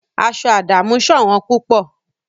Adamu's shirit is very rare